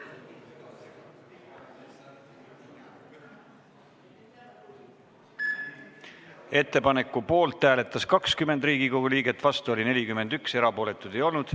Hääletustulemused Ettepaneku poolt hääletas 20 Riigikogu liiget, vastu oli 41, erapooletuid ei olnud.